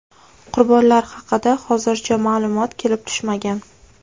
Qurbonlar haqida hozircha ma’lumot kelib tushmagan.